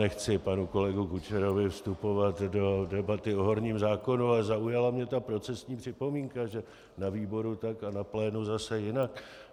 Nechci panu kolegovi Kučerovi vstupovat do debaty o horním zákonu, ale zaujala mě ta procesní připomínka, že na výboru tak a na plénu zase jinak.